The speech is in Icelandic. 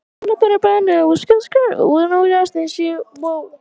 Því eldri sem lögin eru, er meiri hætta á slíku.